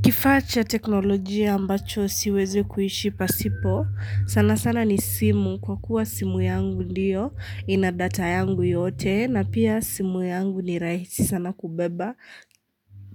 Kifacha teknolojia ambacho siweze kuishi pasipo, sana sana ni simu kwa kuwa simu yangu ndiyo ina data yangu yote na pia simu yangu ni rahisi sana kubeba